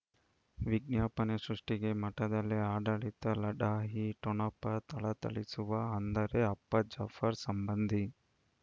ವಿಜ್ಞಾಪನೆ ಸೃಷ್ಟಿಗೆ ಮಠದಲ್ಲಿ ಆಡಳಿತ ಲಢಾಯಿ ಠೊಣಪ ಥಳಥಳಿಸುವ ಅಂದರೆ ಅಪ್ಪ ಜಾಫರ್ ಸಂಬಂಧಿ